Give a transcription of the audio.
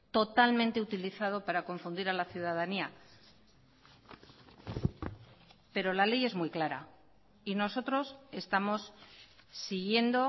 totalmente utilizado para confundir a la ciudadanía pero la ley es muy clara y nosotros estamos siguiendo